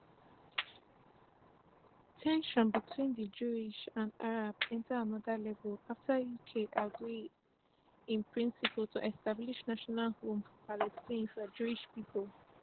ten sions between di jews and arab enta anoda level afta uk agree in principle to establish national home for palestine for jewish pipo